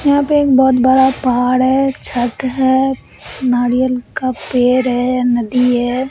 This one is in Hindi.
यहां पे एक बहुत बड़ा पहाड़ है छत है नारियल का पेड़ है नदी है।